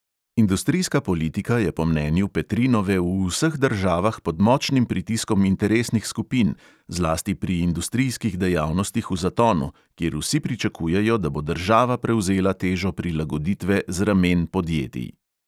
Industrijska politika je po mnenju petrinove v vseh državah pod močnim pritiskom interesnih skupin, zlasti pri industrijskih dejavnostih v zatonu, kjer vsi pričakujejo, da bo država prevzela težo prilagoditve z ramen podjetij.